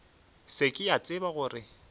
se ke a tseba gore